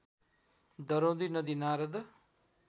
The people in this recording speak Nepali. दरौदी नदी नारद